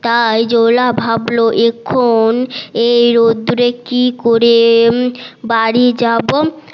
তাই জোলা ভাবলো এখন এই রোদ্দুরে কি করে বাড়ি যাবো